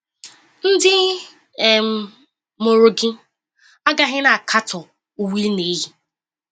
Ndị um mụrụ gị agaghị na-akatọ uwe ị na-eyi.